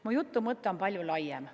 Mu jutu mõte on palju laiem.